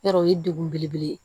Yarɔ o ye degun belebele ye